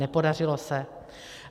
Nepodařilo se.